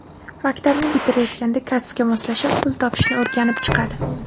Maktabni bitirayotganda kasbga moslashib, pul topishni o‘rganib chiqadi.